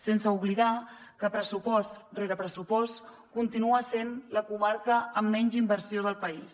sense oblidar que pressupost rere pressupost continua sent la comarca amb menys inversió del país